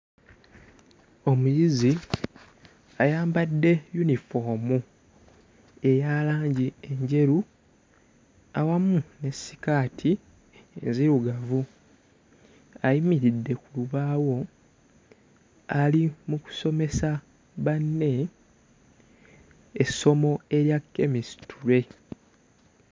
Omuyizi ayambadde yunifoomu eya langi enjeru awamu ne sikaati enzirugavu. Ayimiridde ku lubaawo ali mu kusomesa banne essomo erya Chemistry.